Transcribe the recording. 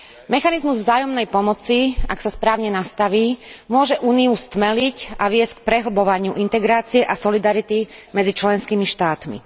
Mechanizmus vzájomnej pomoci, ak sa správne nastaví, môže Úniu stmeliť a viesť k prehlbovaniu integrácie a solidarity medzi členskými štátmi.